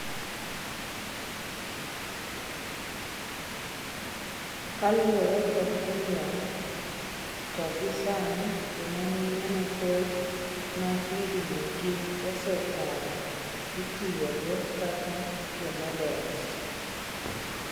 Ka luore kod Gillean, to gi sani jomamine mathoth ma higni gi osekalo ityogo kaka jomodels.